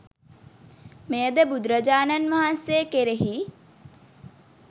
මෙය ද බුදුරජාණන් වහන්සේ කෙරෙහි